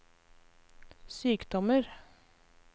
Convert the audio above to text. sykdommer